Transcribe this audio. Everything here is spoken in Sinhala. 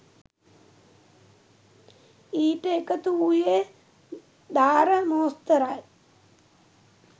ඊට එකතු වූයේ දාර මෝස්තරයි.